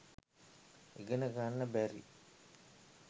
ඉගෙන ගන්න බැරි